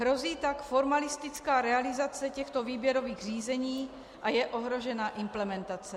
Hrozí tak formalistická realizace těchto výběrových řízení a je ohrožena implementace.